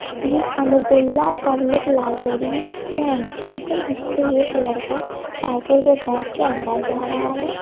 ये Amiruddaula public library का entrance है जिस पे एक लड़का साइकिल पे बैठ के अंदर जा रहा है।